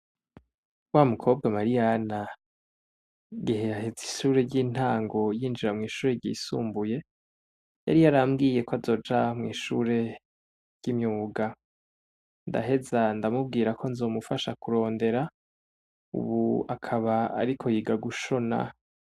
Wa mu kobwa Mariyana, igihe aheza ishure ry'intango yinjira mw'ishure ryisumbuye, yari yarambwiye ko azoja mw'ishure ry'imyuga. Ndaheza ndamubwira ko nzomufasha kurondera, ubu akaba ariko yiga gushona.